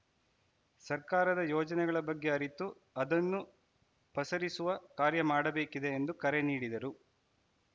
ಸರ್ಕಾರದ ಯೋಜನೆಗಳ ಬಗ್ಗೆ ಅರಿತು ಅದನ್ನು ಪಸರಿಸುವ ಕಾರ್ಯ ಮಾಡಬೇಕಿದೆ ಎಂದು ಕರೆ ನೀಡಿದರು